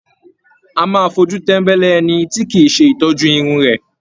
A máa fojú tembele ẹni tí kìí ṣe ìtọ́jú Irun rẹ.